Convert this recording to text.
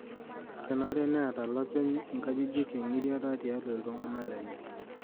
Kenare neeta lopeny nkajijik eng'giriata tialo iltung'ana lenye.